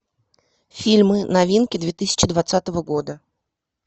фильмы новинки две тысячи двадцатого года